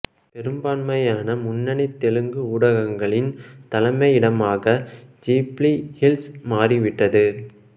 பெரும்பான்மையான முன்னணி தெலுங்கு ஊடகங்களின் தலைமையிடகமாக ஜூப்ளி ஹில்ஸ் மாறிவிட்டது